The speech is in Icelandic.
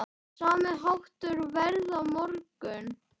Sami háttur verður á morgun.